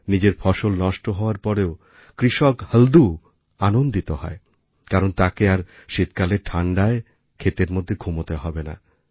নিজের ফসল নষ্ট হওয়ার পরেও কৃষক হলদু আনন্দিত হয় কারণ তাকে আর শীতকালের ঠাণ্ডায় ক্ষেতের মধ্যে ঘুমোতে হবে না